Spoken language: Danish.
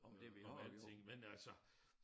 Øh om alting men altså